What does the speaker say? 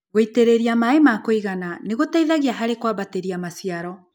Gũitĩrĩria maĩ makũigana nĩgũteithagia harĩ kwambatĩria maciaro.